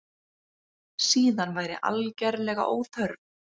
Síðan væri algerlega óþörf